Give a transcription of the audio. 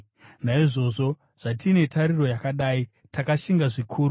Naizvozvo, zvatine tariro yakadai, takashinga zvikuru.